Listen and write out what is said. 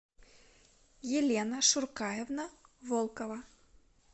елена шуркаевна волкова